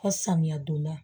Fɔ samiya donda